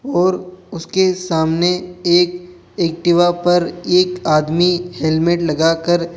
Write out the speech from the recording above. और उसके सामने एक एक्टिवा पर एक आदमी हेलमेट लगाकर --